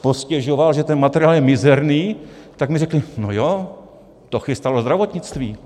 postěžoval, že ten materiál je mizerný, tak mi řekli no jo, to chystalo zdravotnictví.